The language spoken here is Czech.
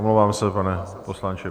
Omlouvám se, pane poslanče.